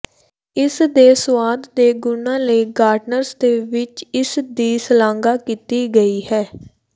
ਇਸ ਦੇ ਸੁਆਦ ਦੇ ਗੁਣਾਂ ਲਈ ਗਾਰਡਨਰਜ਼ ਦੇ ਵਿਚ ਇਸ ਦੀ ਸ਼ਲਾਘਾ ਕੀਤੀ ਗਈ ਹੈ